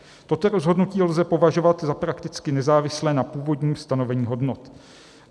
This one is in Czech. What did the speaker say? Toto rozhodnutí lze považovat za prakticky nezávislé na původním stanovení hodnot.